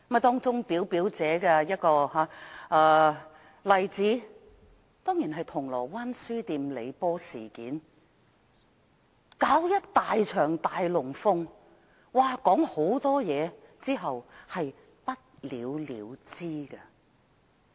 當中表表者的一個例子當然是銅鑼灣書店李波事件，搞了一場"大龍鳳"、說了一大堆話後便不了了之。